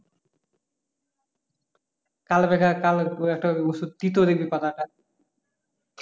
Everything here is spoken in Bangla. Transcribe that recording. কালো মেঘা কাল একটা ওষুধ তিতো দেখবি পাতাটা